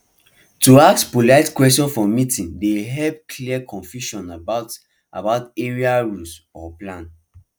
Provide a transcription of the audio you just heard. to ask polite question for meeting dey help clear confusion about about area rules or plans